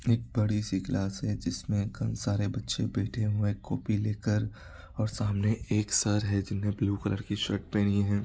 एक बड़ी सी क्लास है जिसमें खूब सारे बच्चे बैठे हुए हैं कोपी लेकर और सामने एक सर है जीने ब्लू कलर की शर्ट पहनी है।